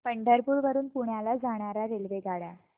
पंढरपूर वरून पुण्याला जाणार्या रेल्वेगाड्या